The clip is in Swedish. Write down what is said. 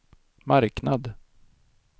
marknad